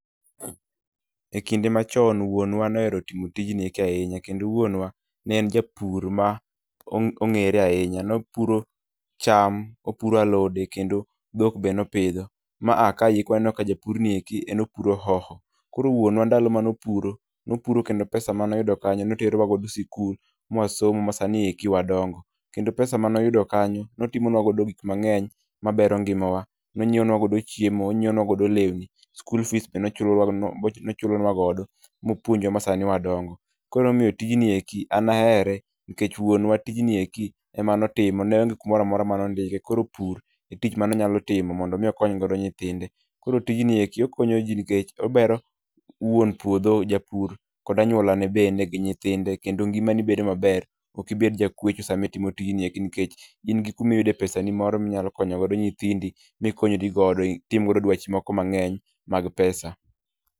E kinde machon wuonwa nohero timo tijni eki ahinya, kendo wuonwa ne en japur ma ong'e ong'ere ahinya, nopuro cham, opuro alode kendo dhok be ne opidho. Ma a kaeki waneno ka japur ni eki en opuro hoho. Koro wuonwa ndalo mane opuro, nopuro kendo pesa mane oyudo kanyo ne otero wa godo sikul mwa somo kendo sani eki wadongo. Kendo pesa mane oyudo kanyo ne otimonwa godo gik mang'eny mabero ngimawa. Ninyieo nwa godo chiemo, onyieo nwa godo lewni, school fees bende ochulo nwa godo mopuonjwa ma sani wadongo. Koro ema omiyo tijni eki an ahere nikech wuonwa tijni eki ema ne otimo ne onge kumoro amora mane ondike, koro pur e tich mane onyalo timo mondo mi okony godo nyithinde. Koro tijni eki okonyo ji nikech obero wuon puodho japur kod anyuolane bende gi nyithinde kendo ngimani bedo maber, ok ibed ja kwecho sama itimo tijni eki nikech in gi kuma iyude pesani moro minyalo konyo godo nyithindi mikonyri godo, itim godo dwachi moko mang'eny mag pesa.